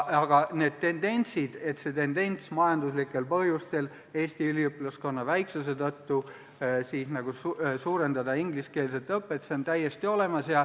Aga tendents majanduslikel põhjustel Eesti üliõpilaskonna väiksuse tõttu ingliskeelset õpet suurendada on täiesti olemas.